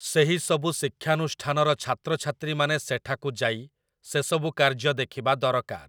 ସେହିସବୁ ଶିକ୍ଷାନୁଷ୍ଠାନର ଛାତ୍ରଛାତ୍ରୀମାନେ ସେଠାକୁ ଯାଇ ସେସବୁ କାର୍ଯ୍ୟ ଦେଖିବା ଦରକାର ।